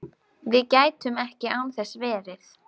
Við gætum ekki án þess verið